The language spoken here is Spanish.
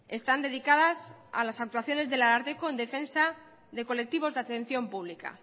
están dedicadas a las actuaciones del ararteko en defensa de colectivos de atención pública